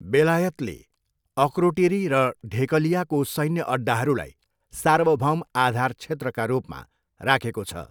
बेलायतले अक्रोटिरी र ढेकलियाको सैन्य अड्डाहरूलाई सार्वभौम आधार क्षेत्रका रूपमा राखेको छ।